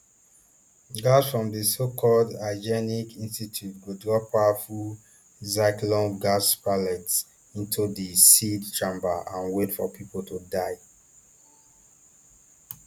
guards from di socalled hygienic institute go drop powerful zyklonb gas pellets into di sealed chambers and wait for pipo to die